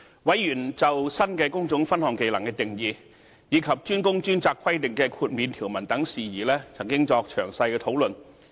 委員就新的工種分項技能定義，以及"專工專責"規定的豁免條文等事宜曾作詳細討論。